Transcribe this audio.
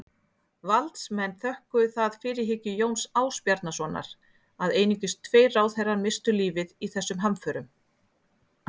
Valdsmenn þökkuðu það fyrirhyggju Jóns Ásbjarnarsonar að einungis tveir ráðherrar misstu lífið í þessum hamförum.